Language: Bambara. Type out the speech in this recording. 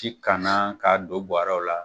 ti kanna k'a don buwɛrɛw la.